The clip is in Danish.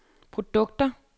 produkter